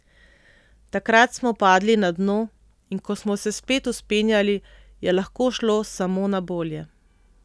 Takrat smo padli na dno, in ko smo se spet vzpenjali, je lahko šlo samo na bolje.